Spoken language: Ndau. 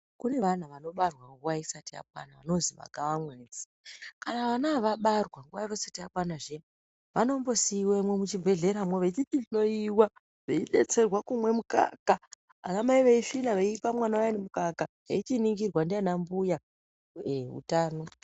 Kune vanhu vanobarwa nguwa isati yakwana vanozi magavamwedzi, kana vana ava vabarwa nguva yavo isati yakwani zviya vanombosiiwemwo muchibhehleramwo, vechichihloyiwa veidetserwa kumwe mukaka, vanamai veisvina veipe vana vaya mukaka veininingirwa ndiana mbuya. Eya ndihwo utano hwacho hwemene.